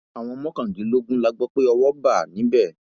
àwọn mọkàndínlógún la gbọ pé owó bá níbẹ